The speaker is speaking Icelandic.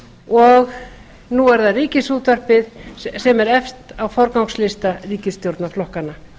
og nú er það ríkisútvarpið sem er efst á forgangslista ríkisstjórnarflokkanna